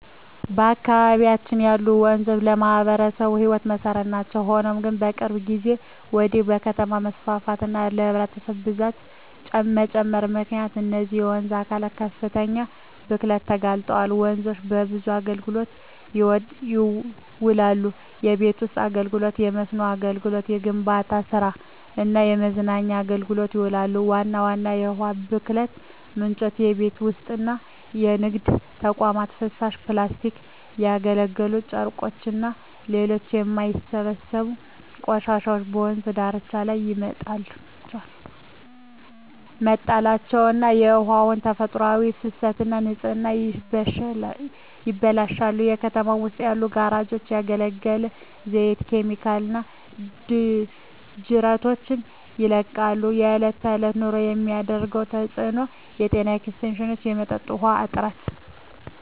በአካባቢያችን ያሉ ወንዞች ለማኅበረሰቡ የሕይወት መሠረት ናቸው። ሆኖም ግን፣ ከቅርብ ጊዜ ወዲህ በከተማ መስፋፋትና በሕዝብ ብዛት መጨመር ምክንያት እነዚህ የውሃ አካላት ለከፍተኛ ብክለት ተጋልጠዋል። ወንዞች ለብዙ አገልግሎቶች ይውላሉ። ለቤት ውስጥ አገልግሎ፣ ለመስኖ አገልግሎት፣ ለግንባታ ስራ እና ለመዝናኛ አገልግሎቶች ይውላሉ። ዋና ዋና የውሃ ብክለት ምንጮች:- የቤት ውስጥና የንግድ ተቋማት ፍሳሽ፣ ፕላስቲኮች፣ ያገለገሉ ጨርቆችና ሌሎች የማይበሰብሱ ቆሻሻዎች በወንዝ ዳርቻዎች ላይ መጣላቸው የውሃውን ተፈጥሯዊ ፍሰትና ንጽህና ያበላሻሉ። በከተማው ውስጥ ያሉ ጋራዦች ያገለገለ ዘይትና ኬሚካሎችን ወደ ጅረቶች ይለቃሉ። በእለት በእለት ኑሮ የሚያሳድረው ተጽኖ:- የጤና እክሎች፣ የመጠጥ ውሀ እጥረት…